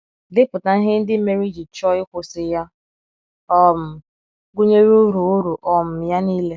Depụta ihe ndị mere i ji chọọ ịkwụsị ya, um gụnyere ụrụ ụrụ um ya nile.